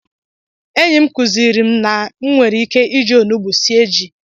Enyị m kuziri m na e nwere ike iji onugbu sie ji.